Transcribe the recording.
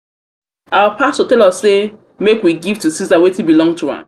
our pastor tell us say make we give to ceasar wetin belong to am.